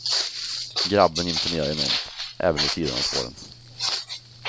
Grabben imponerar enormt, även vid sidan av spåren.